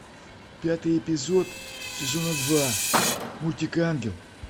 пятый эпизод сезона два мультик ангел